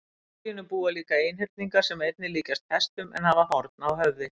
Í skóginum búa líka einhyrningar sem einnig líkjast hestum en hafa horn á höfði.